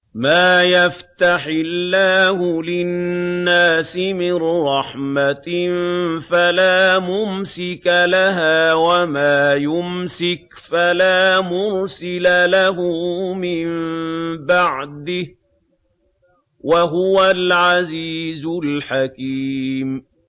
مَّا يَفْتَحِ اللَّهُ لِلنَّاسِ مِن رَّحْمَةٍ فَلَا مُمْسِكَ لَهَا ۖ وَمَا يُمْسِكْ فَلَا مُرْسِلَ لَهُ مِن بَعْدِهِ ۚ وَهُوَ الْعَزِيزُ الْحَكِيمُ